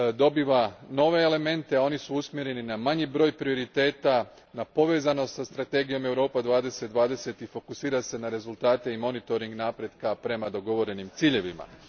dobiva nove elemente, a oni su usmjereni na manji broj prioriteta, na povezanost sa strategijom Europa 2020 i fokusira se na rezultate i monitoring napretka prema dogovorenim ciljevima.